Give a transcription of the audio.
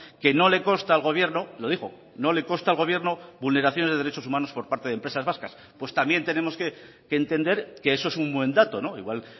que no le consta al gobierno lo dijo no le consta al gobierno vulneraciones de derechos humanos por parte de empresas vascas pues también tenemos que entender que eso es un buen dato igual